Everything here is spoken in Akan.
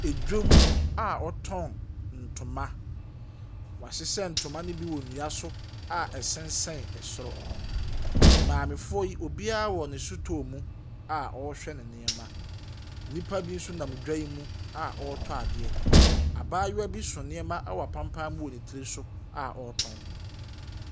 Adwam a wɔtɔn ntoma. Wɔahyehyɛ ntoma no bi wɔ dua so a ɛsensɛn ɛsoro. Maamefoɔ yi, obiara wɔ no sotɔɔ mu a ɔrehhwɛ ne nneɛma. Nnipa bi nso nam dwa yi mu a wɔretɔ adeɛ. Abaayewa bi ɛso nneɛma a ɛwɔ apampa mu ɛwɔ ne tsir so a ɔretɔn.